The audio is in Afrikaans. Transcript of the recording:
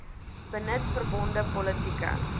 benut verbonde politieke